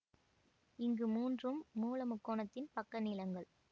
இங்கு மூன்றும் மூல முக்கோணத்தின் பக்கநீளங்கள்